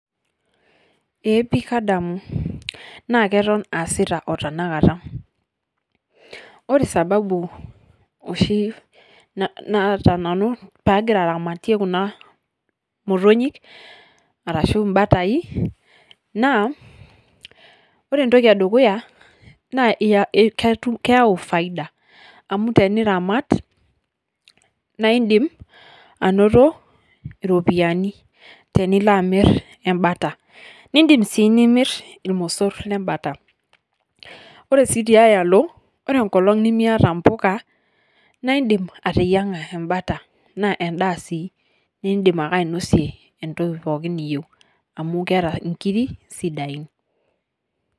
Eeh pii kaadamu naa ketoon aasita otana nkaata . Ore sababu oshii naata nanu paa agiraa aramatie kuna mootonyi arashu mbaatai naa ore ntoki edukuya naa keiyau faida amu tiniramaat naa idiim anotoo ropiani tiniloo amiir embaata. Idiim sii nimiir ilmosoor le mbaata. Ore sii teayaloo ore nkolong' nimieta mbukaa naa idiim ateyaang'a mbaata. Naa endaa sii nidiim ainose entokii pooki niyeu amu keeta ng'irii sidai.